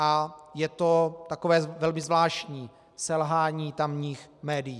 A je to takové velmi zvláštní selhání tamních médií.